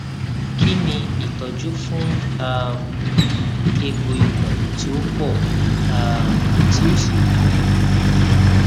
kini itọju fun um egbo ikun ti o pọ um ti o si gunun